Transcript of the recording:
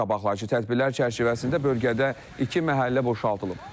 Qabaqlayıcı tədbirlər çərçivəsində bölgədə iki məhəllə boşaldılıb.